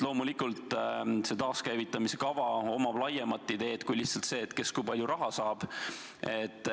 Loomulikult on taaskäivitamise kava idee laiem kui lihtsalt see, kes kui palju raha saab.